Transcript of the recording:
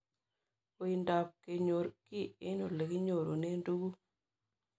Uindop kenyor kiy eng' ole kinyorune tuguk